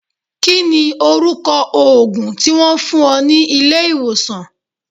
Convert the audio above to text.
Kí ni orúkọ òògùn tí Wọ́n fún ọ ní ilé ìwòsàn?